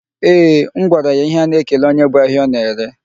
Eeh, m gwara ya ihe a na-ekele onye bu ahịa ọ na-ere.